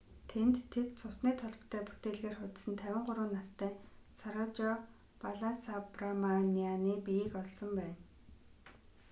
тэнд тэд цусны толботой бүтээлгээр хучсан 53 настай сарожа баласабраманианы биеийг олсон байна